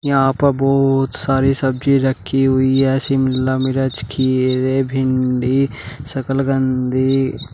यहां पर बहोत सारी सब्जी रखी हुई है शिमला मिरच खीरे भिंडी शकलकंदी ।